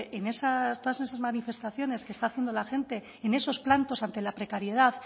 en todas esas manifestaciones que está haciendo la gente en esos plantos ante la precariedad